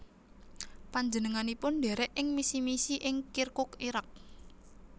Panjenenganipun ndherek ing misi misi ing Kirkuk Irak